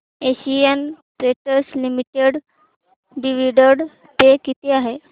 Asian Paints Limited dividend pay किती आहे